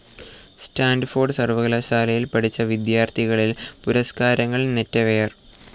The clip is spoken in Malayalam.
സ്റ്റാൻഫോർഡ് സർവകലാശാലയിൽ പഠിച്ച വിദ്യാർത്ഥികളിൽ പുരസ്കാരങ്ങൾ നെറ്റവെയർ.